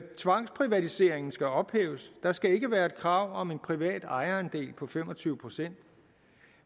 tvangsprivatiseringen skal ophæves der skal ikke være et krav om en privat ejerandel på fem og tyve procent